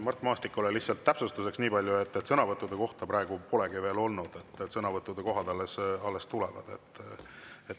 Mart Maastikule lihtsalt täpsustuseks nii palju, et sõnavõttude kohta praegu polegi veel olnud, sõnavõtud alles tulevad.